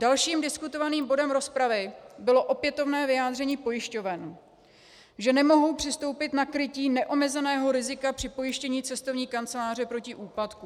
Dalším diskutovaným bodem rozpravy bylo opětovné vyjádření pojišťoven, že nemohou přistoupit na krytí neomezeného rizika při pojištění cestovní kanceláře proti úpadku.